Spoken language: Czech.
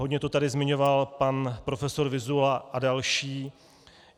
Hodně to tady zmiňoval pan profesor Vyzula a další.